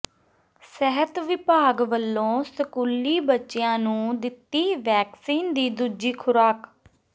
ਸਿਹਤ ਵਿਭਾਗ ਵਲੋਂ ਸਕੂਲੀ ਬੱਚਿਆਂ ਨੂੰ ਦਿੱਤੀ ਵੈਕਸੀਨ ਦੀ ਦੂਜੀ ਖੁਰਾਕ